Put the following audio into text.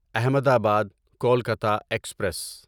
احمد آباد کولکتہ ایکسپریس